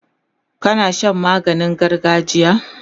kana Shan maganin gargajiya?